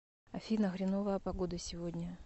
афина хреновая погода сегодня